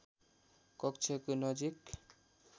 कक्षको नजिक